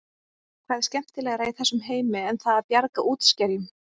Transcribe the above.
Hvað er skemmtilegra í þessum heimi en það að bjarga útskerjum?